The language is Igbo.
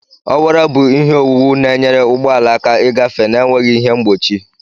Ọwara bụ ihe owuwu na-enyere ụgbọ ala aka ịgafe na-enweghị ihe mgbochi.